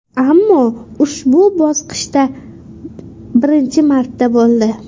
Ammo ushbu bosqichda birinchi marta bo‘ldi.